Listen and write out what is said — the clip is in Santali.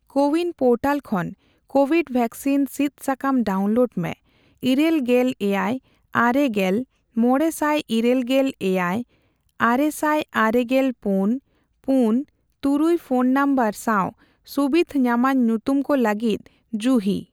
ᱠᱳᱼᱣᱤᱱ ᱯᱳᱨᱴᱟᱞ ᱠᱷᱚᱱ ᱠᱳᱣᱤᱰ ᱣᱮᱠᱥᱤᱱ ᱥᱤᱫ ᱥᱟᱠᱟᱢ ᱰᱟᱣᱩᱱᱞᱳᱰ ᱢᱮ ᱤᱨᱟᱹᱞ ᱜᱮᱞ ᱮᱭᱟᱭ, ᱟᱨᱮ ᱜᱮᱞ, ᱢᱚᱲᱮ ᱥᱟᱭ ᱤᱨᱟᱹᱞ ᱜᱮᱞ ᱮᱭᱟᱭ, ᱟᱨᱮ ᱥᱟᱭ ᱟᱨᱮ ᱜᱮᱞ ᱯᱩᱱ ,ᱯᱩᱱ ,ᱛᱩᱨᱩᱭ ᱯᱷᱚᱱ ᱱᱚᱢᱵᱚᱨ ᱥᱟᱶ ᱥᱩᱵᱤᱫᱷ ᱧᱟᱢᱟᱱ ᱧᱩᱛᱩᱢ ᱠᱚ ᱞᱟᱹᱜᱤᱫ ᱡᱩᱦᱤ ᱾